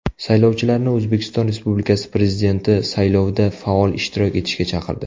Saylovchilarni O‘zbekiston Respublikasi Prezidenti saylovida faol ishtirok etishga chaqirdi.